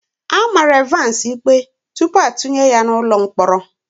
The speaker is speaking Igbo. A mara Evans ikpe tupu atụnye ya n'ụlọ mkpọrọ.